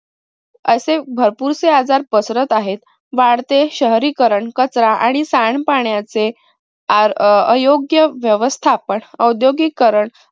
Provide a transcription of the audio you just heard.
असे भरपूरसे आजार पसरत आहेत. वाढते शहरीकरण, कचरा आणि सांड पाण्याचे आ अं अयोग्य व्यवस्थापन औद्योगिकरण